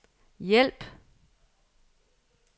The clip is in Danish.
hjælp